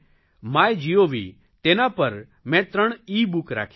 MyGov તેના પર મેં ત્રણ ઇબુક રાખી છે